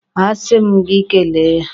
A si m gị kele ya?